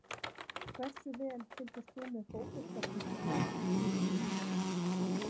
Hversu vel fylgdist þú með Fótbolta.net í síðustu viku?